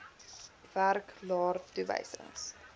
werk laer toewysings